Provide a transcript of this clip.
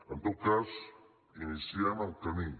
en tot cas iniciem el camí